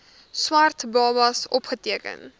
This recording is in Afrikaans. swart babas opgeteken